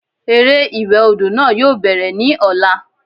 Eré ìwẹ̀ odò náà yóò bẹ̀rẹ̀ ní ọ̀la